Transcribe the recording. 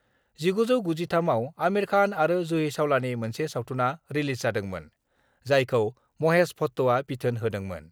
1993 आव आमिर खान आरो जुहि चावलानि मोनसे सावथुनआ रिलिज जादोंमोन, जायखौ महेश भाट्टआ बिथोन होदोंमोन।